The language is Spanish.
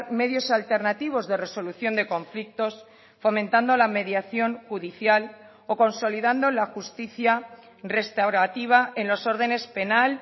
medios alternativos de resolución de conflictos fomentando la mediación judicial o consolidando la justicia restaurativa en los órdenes penal